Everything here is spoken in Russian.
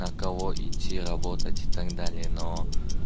на кого идти работать так далее но